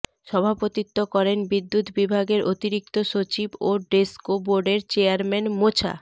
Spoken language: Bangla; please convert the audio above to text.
সভাপতিত্ব করেন বিদ্যুৎ বিভাগের অতিরিক্ত সচিব ও ডেসকো বোর্ডের চেয়ারম্যান মোছা